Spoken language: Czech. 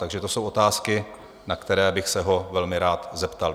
Takže to jsou otázky, na které bych se ho velmi rád zeptal.